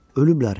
Ölüblər.